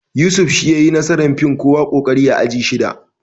Yusuf shi ya yayi nasarar fin kowa ƙoƙari a aji shida